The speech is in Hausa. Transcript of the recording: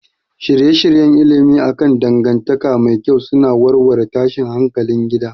Shirye-shiryen ilimi akan dangantaka mai kyau suna warware tashin hankalin gida